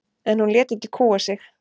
En hún lét ekki kúga sig.